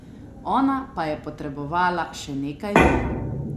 Ona pa je potrebovala še nekaj milj.